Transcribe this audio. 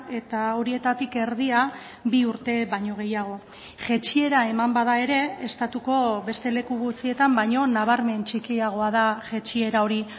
eta horietatik erdia bi urte baino gehiago jaitsiera eman bada ere estatuko beste leku gutxietan baino nabarmen txikiagoa da jaitsiera hori